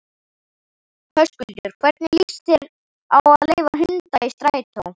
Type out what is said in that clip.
Höskuldur: Hvernig líst þér á að leyfa hunda í strætó?